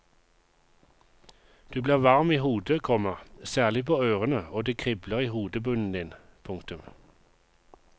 Du blir varm i hodet, komma særlig på ørene og det kribler i hodebunnen din. punktum